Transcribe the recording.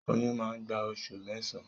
Oyún má gbà oṣù mẹsan.